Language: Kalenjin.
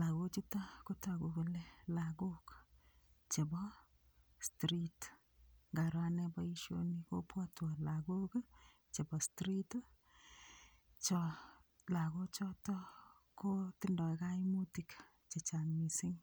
lakochuto kotoku kole lakok chebo street ngaro ane boishoni kopwotwo lakok chebo street cho lakochoto kotindoi kaimutik chechang' mising'